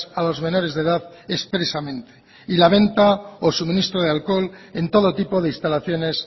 a los menores de edad expresamente y la venta o suministro de alcohol en todo tipo de instalaciones